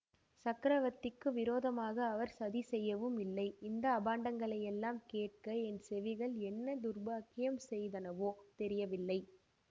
சக்கரவர்த்திக்கு விரோதமாக அவர் சதி செய்யவும் இல்லை இந்த அபாண்டங்களையெல்லாம் கேட்க என் செவிகள் என்ன துர்பாக்கியம் செய்தனவோ தெரியவில்லை